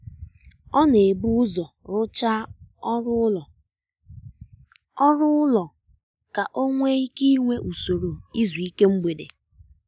ọ na-ebu ụzọ rụchaa ọrụ ụlọ ọrụ ụlọ ka ọ nwee ike inwe usoro izu ike mgbede